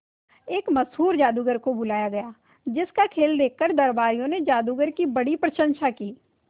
एक मशहूर जादूगर को बुलाया गया जिस का खेल देखकर दरबारियों ने जादूगर की बड़ी प्रशंसा की